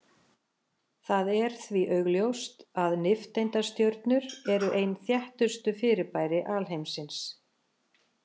Það er því augljóst að nifteindastjörnur eru ein þéttustu fyrirbæri alheimsins.